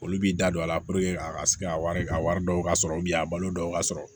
Olu b'i da don a la a ka se ka wari a wari dɔw ka sɔrɔ a balo dɔw ka sɔrɔ